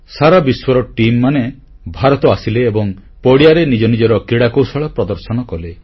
ସାରା ବିଶ୍ୱର ଟିମ ମାନେ ଭାରତ ଆସିଲେ ଏବଂ ପଡ଼ିଆରେ ନିଜ ନିଜର କ୍ରୀଡ଼ା କୌଶଳ ପ୍ରଦର୍ଶନ କଲେ